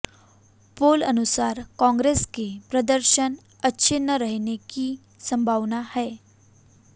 पोल अनुसार कांग्रेस के प्रदर्शन अच्छे न रहने की सम्भावना है